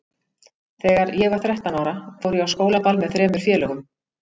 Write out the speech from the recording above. Þegar ég var þrettán ára fór ég á skólaball með þremur félögum.